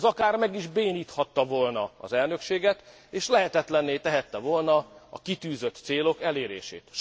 Ez akár meg is béníthatta volna az elnökséget, és lehetetlenné tehette volna a kitűzött célok elérését.